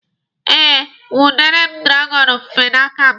E nwudere m dragọnụ ofufe n'aka m.